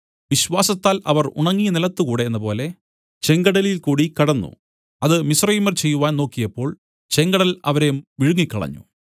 വിശ്വാസത്താൽ അവർ ഉണങ്ങിയ നിലത്തു കൂടെ എന്നപോലെ ചെങ്കടലിൽ കൂടി കടന്നു അത് മിസ്രയീമ്യർ ചെയ്‌വാൻ നോക്കിയപ്പോൾ ചെങ്കടൽ അവരെ വിഴുങ്ങികളഞ്ഞു